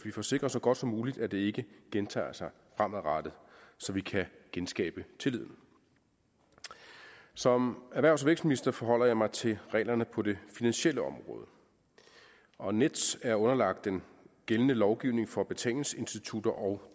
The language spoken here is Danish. får sikret så godt som muligt at det ikke gentager sig fremadrettet så vi kan genskabe tilliden som erhvervs og vækstminister forholder jeg mig til reglerne på det finansielle område og nets er underlagt den gældende lovgivning for betalingsinstitutter og